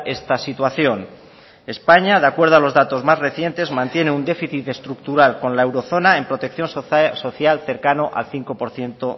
esta situación españa de acuerdo a los datos más recientes mantiene un déficit estructural con la eurozona en protección social cercano al cinco por ciento